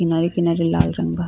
किनारे-किनारे लाल रंग बा।